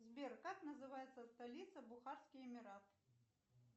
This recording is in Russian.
сбер как называется столица бухарский эмират